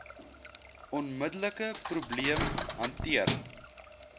onmiddelike probleem hanteer